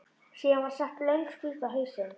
Síðan var sett löng spýta á hausinn.